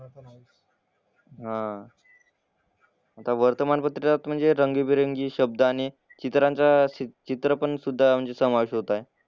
हां. आता वर्तमानपत्रालाच म्हणजे रंगीबेरंगी शब्द आणि चित्रांचा चित्र पण सुद्धा म्हणजे समावेश होतायत.